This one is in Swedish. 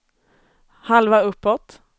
halva uppåt